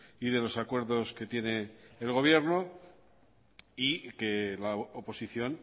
y de los acuerdos que tiene el gobierno y que la oposición